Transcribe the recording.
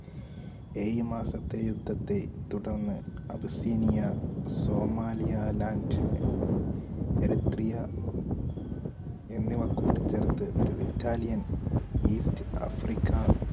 ഏയു മാസത്തെ യുദ്ധത്തെ തുടർന്ന് അപസീനിയ സോമാലിയ land എന്നിവ കൂട്ടിച്ചേർത്ത് ഒരു Italian east Africa